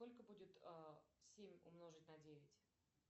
сколько будет семь умножить на девять